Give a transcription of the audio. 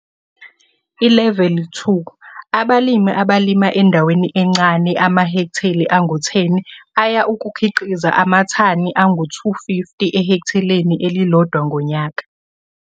ILeveli 2 - Abalimi abalima endaweni encane - amahekhteli angu-10 aya ukukhiqiza amathani angu250 ehektheleni elilodwa ngonyaka